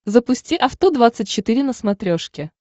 запусти авто двадцать четыре на смотрешке